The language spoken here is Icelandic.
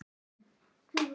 Hann vékst undan því.